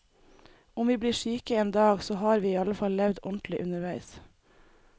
Om vi blir syke en dag, så har vi i alle fall levd ordentlig underveis.